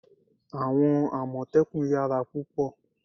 àwọn amotekun yara púpò